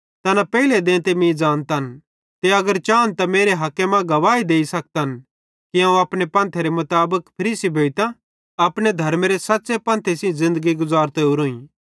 तैना पेइले देंते मीं ज़ानतन ते अगर चान त मेरे हके मां गवाही देइ सखतन कि अवं अपने पंथेरे मुताबिक फरीसी भोइतां अपने धर्मेरे सच़्च़े पंथे सेइं ज़िन्दगी गुज़रतो ओरोईं